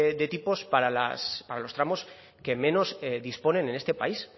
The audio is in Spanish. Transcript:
de tipos para los tramos que menos disponen en este país